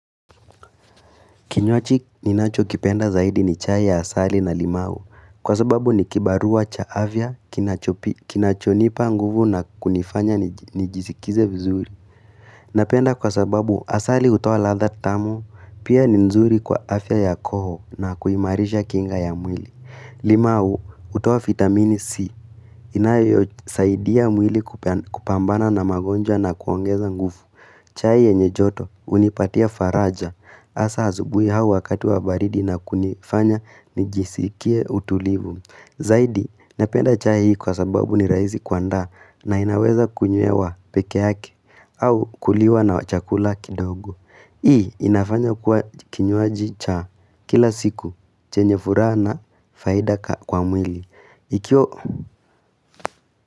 Kinywaji ninachokipenda zaidi ni chai ya asali na limau kwa sababu ni kibarua cha afya kinacho kinachonipa nguvu na kunifanya nijisikize vizuri. Napenda kwa sababu asali hutoa ladha tamu pia ni nzuri kwa afya ya koo na kuimarisha kinga ya mwili. Limau hutoa vitamini C inayosaidia mwili kupambana na magonjwa na kuongeza nguvu. Chai yenye joto hunipatia faraja hasa asubuhi hawa wakati wa baridi na kunifanya nijisikie utulivu. Zaidi napenda chai kwa sababu ni rahisi kuandaa na inaweza kunywewa peke yake au kuliwa na chakula kidogo. Hii inafanya kwa kinywaji cha kila siku chenye furaha na faida kwa mwili. Iki.